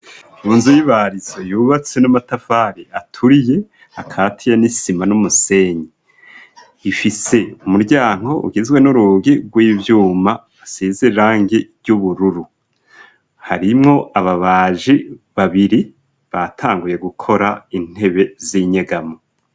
Mu nzu y'ibarizo yubatse n'amatafari aturiye akatiye n'isima n'umusenyi, ifise umuryango ugizwe n'urugi rw'ivyuma asize irangi ry'ubururu, harimwo ababaji babiri, batanguye gukora intebe z'inyegamo.